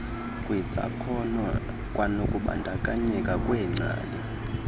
kwizakhono kwanokubandakanyeka kweengcali